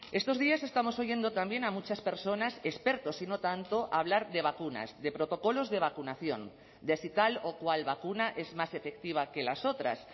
estos días estamos oyendo también a muchas personas expertos y no tanto hablar de vacunas de protocolos de vacunación de si tal o cual vacuna es más efectiva que las otras